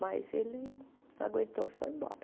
Mas ele não aguentou e foi embora.